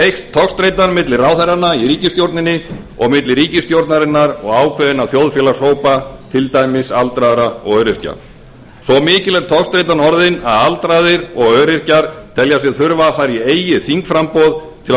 eykst togstreitan milli ráðherranna í ríkisstjórninni og milli ríkisstjórnarinnar og ákveðinna þjóðfélagshópa til dæmis aldraðra og öryrkja svo mikil er togstreitan orðin að aldraðir og öryrkjar telja sig þurfa að fara í eigið þingframboð til að